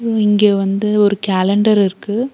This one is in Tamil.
இங்க வந்து ஒரு கேலண்டர் இருக்கு.